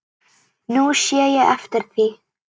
Nú sé ég eftir því.